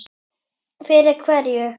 Fyrir hverju?